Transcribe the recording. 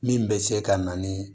Min bɛ se ka na ni